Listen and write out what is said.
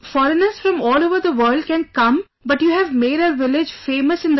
Foreigners from all over the world can come but you have made our village famous in the world